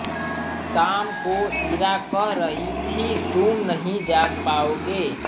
शाम को इरा कह रही थी तुम नहीं जाग पाओगे